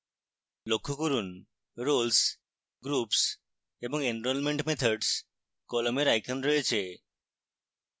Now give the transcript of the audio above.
লক্ষ্য করুন roles groups এবং enrolment methods কলামের icons রয়েছে